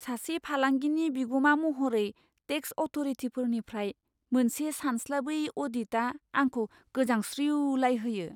सासे फालांगिनि बिगुमा महरै, टेक्स अथ'रिटिफोरनिफ्राय मोनसे सानस्लाबै अ'डिटआ आंखौ गोजांस्रिउलायहोयो।